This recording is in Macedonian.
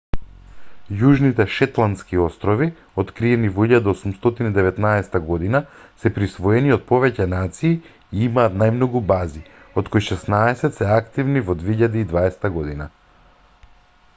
јужните шетландски острови откриени во 1819 г се присвоени од повеќе нации и имаат најмногу бази од кои шеснаесет се активни во 2020 г